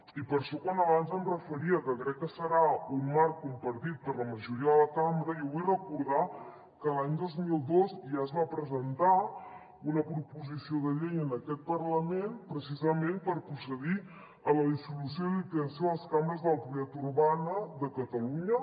i per això quan abans em referia a que crec que serà un marc compartit per la majoria de la cambra jo vull recordar que l’any dos mil dos ja es va presentar una proposició de llei en aquest parlament precisament per procedir a la dissolució i liquidació de les cambres de la propietat urbana de catalunya